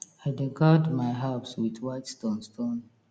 i dey guard my herbs with white stone stone